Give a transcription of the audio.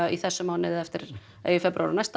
í þessum mánuði eða næsta